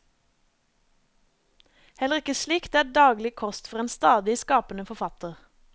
Heller ikke slikt er daglig kost for en stadig skapende forfatter.